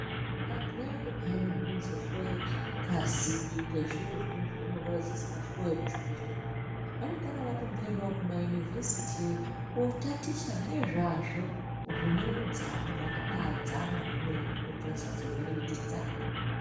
Vantu Vaya piya vanozohloya ngazi Nezviro zvavanenge vachinzi vahloye muzvibhedhlera vanongana vamboendawo kumaunivhesiti Kotaticha nezvazvo zvine udzamu zvakabadzama kwemene kuitira kuti vasazovhiringika.